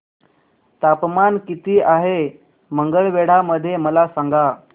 तापमान किती आहे मंगळवेढा मध्ये मला सांगा